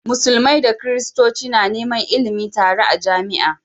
Musulmai da christoci na Neman ilimin tare a jamia